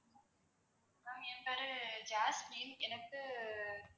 ma'am என் பேரு Jasmine எனக்கு